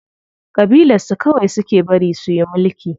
Ƙabilar su kawai suke bari suyi mulki.